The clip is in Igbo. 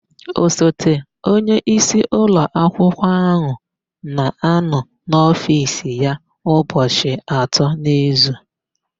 Osote onyeisi ụlọakwụkwọ áhụ̀ na-anọ n'ofiisi ya ụbọchị atọ n'izu.